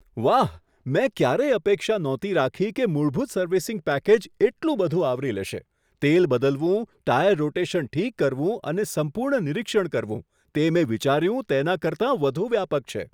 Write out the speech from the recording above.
વાહ, મેં ક્યારેય અપેક્ષા નહોતી રાખી કે મૂળભૂત સર્વિસિંગ પેકેજ એટલું બધું આવરી લેશે તેલ બદલવું, ટાયર રોટેશન ઠીક કરવું અને સંપૂર્ણ નિરીક્ષણ કરવું. તે મેં વિચાર્યું તેના કરતાં વધુ વ્યાપક છે!